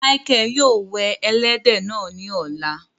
Mícheal yóò wẹ èlẹdẹ náà ni ọ̀lá